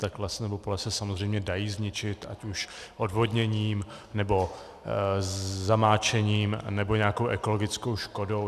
Tak les nebo pole se samozřejmě dají zničit, ať už odvodněním, nebo zamáčením, nebo nějakou ekologickou škodou.